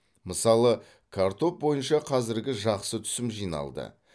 мысалы картоп бойынша қазір жақсы түсім жиналды